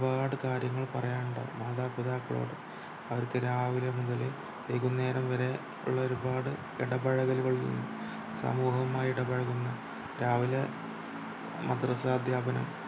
പാട് കാര്യങ്ങൾ പറയാനുണ്ടാകും മാതാപിതാക്കളോട് അവർക്കു രാവിലെ മുതൽ വൈകുന്നേരം വരെ ഉള്ള ഒരുപാട് ഇടപഴകലുകളു സമൂഹവുമായി ഇടപഴകുന്ന രാവിലെ മദ്രസ്സ അധ്യാപനം